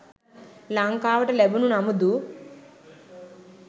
ලංකාවට ලැබුණු නමුදු